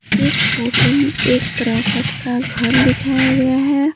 इस फोटो में एक क्रॉकट का घर दिखाया गया है।